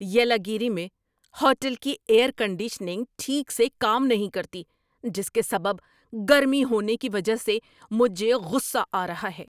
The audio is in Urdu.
یلاگیری میں ہوٹل کی ایئر کنڈیشنگ ٹھیک سے کام نہیں کرتی جس کے سبب گرمی ہونے کی وجہ سے مجھے غصہ آ رہا ہے۔